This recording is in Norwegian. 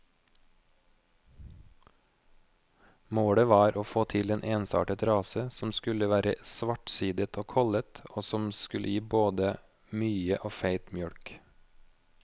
Målet var å få til en ensartet rase som skulle være svartsidet og kollet, og som skulle gi både mye og feit mjølk.